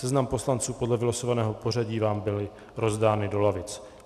Seznamy poslanců podle vylosovaného pořadí vám byly rozdány do lavic.